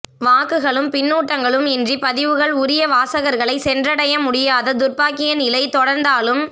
வாக்குகளும் பின்னூட்டங்களும் இன்றி பதிவுகள் உரிய வாசகர்களை சென்றடைய முடியாத துர்பாக்கிய நிலை தொடர்ந்தாலும்